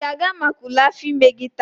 ị ga-aga maka ule afọ ime gị taa?